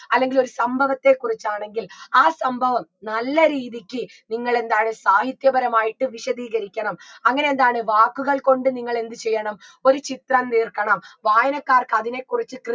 അല്ലെങ്കി ഒരു സംഭവത്തെ കുറിച്ചാണെങ്കിൽ ആ സംഭവം നല്ല രീതിക്ക് നിങ്ങളെന്താണ് സാഹിത്യ പരമായിട്ട് വിശദീകരിക്കണം അങ്ങനെയെന്താണ് വാക്കുകൾ കൊണ്ട് നിങ്ങളെന്ത് ചെയ്യണം ഒരു ചിത്രം തീർക്കണം വായനക്കാർക്ക് അതിനെക്കുറിച്ച്